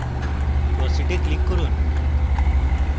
proceed এ click করুন